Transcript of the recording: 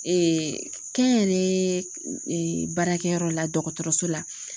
kɛnyɛrɛye baarakɛyɔrɔ la dɔgɔtɔrɔso la